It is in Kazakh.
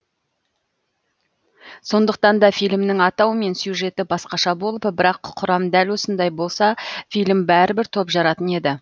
сондықтан да фильмнің атауы мен сюжеті басқаша болып бірақ құрам дәл осындай болса фильм бәрібір топ жаратын еді